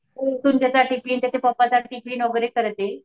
उठून त्याचा टिफिन त्याच्या पप्पाचा टिफिन वगैरे करते.